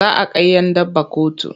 Za a kai 'yan daba kotu.